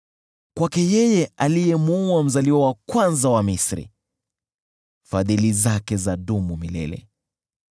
Kwake yeye aliyemuua mzaliwa wa kwanza wa Misri, Fadhili zake zadumu milele .